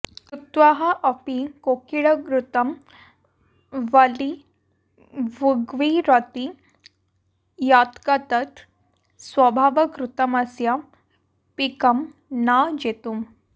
श्रुत्वाऽपि कोकिलग्रुतं बलिभुग्विरौति यत्ग्तत् स्वभावकृतमस्य पिकं न जेतुम्